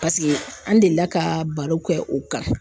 Paseke, an delila ka barow kɛ o kan.